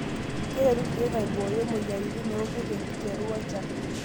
Keretu irkiek aibooyo moyiaritin orkurt tenkiteru enchan.